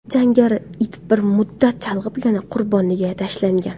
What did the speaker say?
Jangari it bir muddat chalg‘ib yana qurboniga tashlangan.